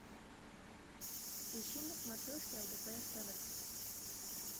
ищи на смотрешке лдпр тв